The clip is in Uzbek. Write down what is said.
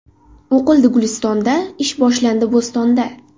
O‘qildi Gulistonda, Ish boshlandi Bo‘stonda.